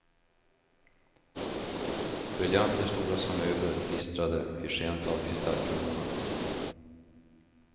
Briljanter stora som möbler gnistrade i skenet av kristallkronorna.